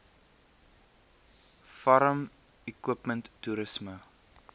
farm equipment toerisme